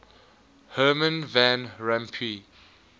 herman van rompuy